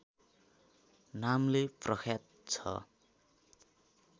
नामले प्रख्यात छ